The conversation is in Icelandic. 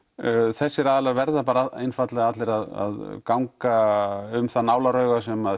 þessir aðilar verða einfaldlega allir að ganga um það nálarauga sem